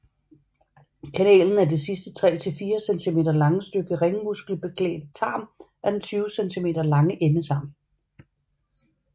Kanalen er det sidste 3 til 4 cm lange stykke ringmuskelbeklædte tarm af den 20 cm lange endetarm